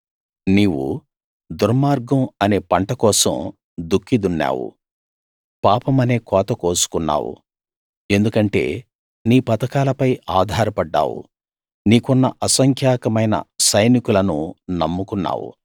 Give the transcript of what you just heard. నీవు దుర్మార్గం అనే పంటకోసం దుక్కి దున్నావు పాపమనే కోత కోసుకున్నావు ఎందుకంటే నీ పథకాలపై ఆధారపడ్డావు నీకున్న అసంఖ్యాకమైన సైనికులను నమ్ముకున్నావు